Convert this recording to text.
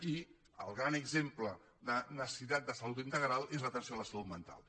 i el gran exemple de necessitat de salut integral és l’atenció a la salut mental